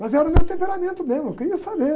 Mas era o meu temperamento mesmo, eu queria saber.